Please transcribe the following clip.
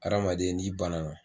Ha adamaden n'i banana